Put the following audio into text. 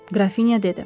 Qrafinya dedi.